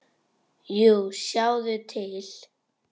Jú, sjáðu til.